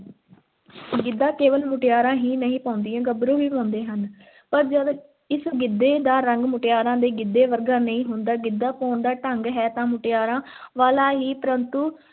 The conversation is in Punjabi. ਗਿੱਧਾ ਕੇਵਲ ਮੁਟਿਆਰਾਂ ਹੀ ਨਹੀਂ ਪਾਉਂਦੀਆਂ, ਗੱਭਰੂ ਵੀ ਪਾਉਂਦੇ ਹਨ ਪਰ ਜਦ ਇਸ ਗਿੱਧੇ ਦਾ ਰੰਗ ਮੁਟਿਆਰਾਂ ਦੇ ਗਿੱਧੇ ਵਰਗਾ ਨਹੀਂ ਹੁੰਦਾ, ਗਿੱਧਾ ਪਾਉਣ ਦਾ ਢੰਗ ਹੈ ਤਾਂ ਮੁਟਿਆਰਾਂ ਵਾਲਾ ਹੀ ਪਰੰਤੂ